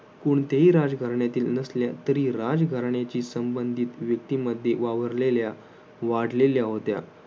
कोणत्याही राजघराण्यातील नसल्या तरीही राजघराण्याशी संबंधित व्यक्तीमध्ये वावरलेल्या वाढलेल्या होत्या.